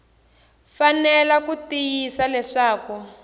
fanele ku tiyisisa leswaku ku